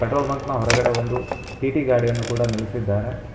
Petrol ಬಂಕ್ನ ಹೊರಗಡೆ ಒಂದು ಟಿ_ಟಿ ಗಾಡಿಯನ್ನು ಕೂಡ ನಿಲ್ಲಿಸಿದ್ದಾರೆ.